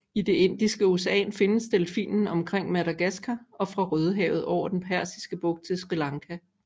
I det Indiske ocean findes delfinen omkring Madagaskar og fra Rødehavet over den Persiske bugt til Sri Lanka